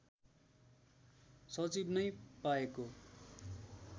सचिव नै पाएको